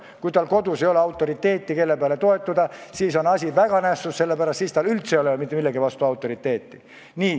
Kui tal ei ole kodus autoriteeti, kellele toetuda, siis on asi väga nässus, sellepärast et siis tal ei ole üldse mitte kellegi vastu autoriteeti.